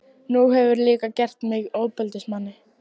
Nú hefurðu líka gert mig að ofbeldismanni.